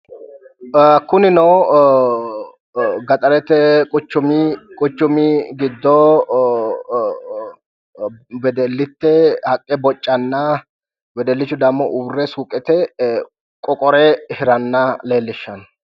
Kunino gaxarete quchumi gido wedellite haqqe bo'canna wedellichi dammo uure suuqete qoqqore hiranna leelishano